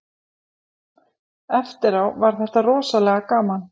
Eftirá var þetta rosalega gaman